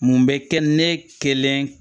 Mun bɛ kɛ ne kelen